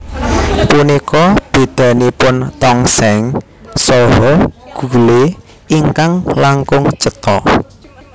Punika bedanipun tongseng saha gule ingkang langkung cetha